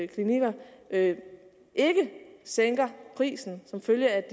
klinikker ikke sænker prisen som følge af